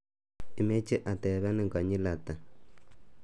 Imeche atepenin konyil ata?